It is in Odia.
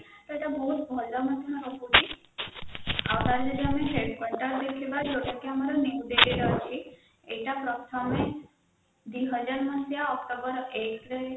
ସେଇଟା ବହୁତ ଭଲ ମଧ୍ୟ ରହୁଛି ଆଉ ଯଦି ଆମେ ଏଇଟା ପ୍ରଥମେ ଦୁଇହାଜର ମସିହା ଆକ୍ଟୋବର ଏକ ରେ